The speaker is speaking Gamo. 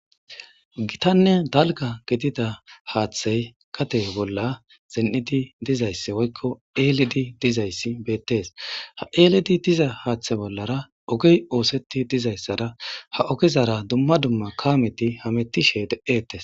Gitanne dalgga gidida hathey gade bolla zin'idi dizayssi woyko eelidi dizayssi beetes ha eeli diza hathe bollara ogey ootheti dizaysara ha ogezara dumma dumma kaameti hametishe de'etes.